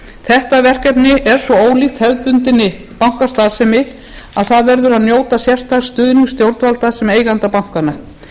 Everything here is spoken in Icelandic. þetta verkefni er svo ólíkt hefðbundinni bankastarfsemi að það verður að njóta sérstaks stuðnings stjórnvalda sem eigenda bankanna